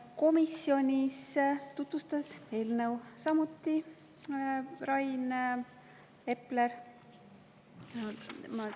Komisjonis tutvustas eelnõu samuti Rain Epler.